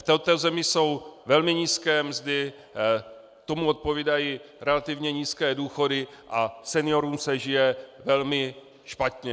V této zemi jsou velmi nízké mzdy, tomu odpovídají relativně nízké důchody a seniorům se žije velmi špatně.